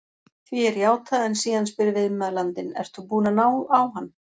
Því er játað en síðan spyr viðmælandinn: Ert þú búinn að ná á hann?